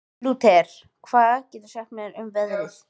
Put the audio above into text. Lúter, hvað geturðu sagt mér um veðrið?